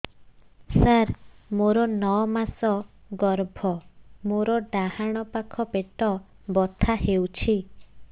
ସାର ମୋର ନଅ ମାସ ଗର୍ଭ ମୋର ଡାହାଣ ପାଖ ପେଟ ବଥା ହେଉଛି